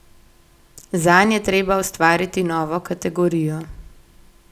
Zanj je treba ustvariti novo kategorijo.